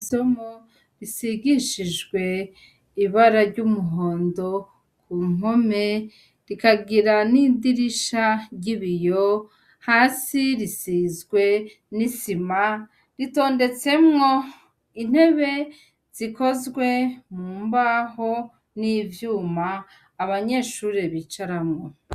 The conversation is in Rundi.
Isomo risigishijwe ibara ry'umuhondo ku mpome ,rikagira n'idirisha ry'ibiyo, hasi risizwe n'isima ,ritondetsemwo intebe zikozwe mu mbaho n'ivyuma abanyeshuri bicaramwo.